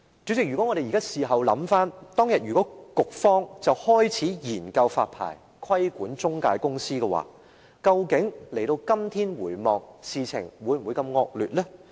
主席，事後回想，如果當日局方已開始研究發牌，規管中介公司，今天的情況會否如此惡劣呢？